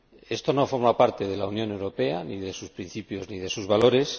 Esto no forma parte de la Unión Europea, ni de sus principios, ni de sus valores.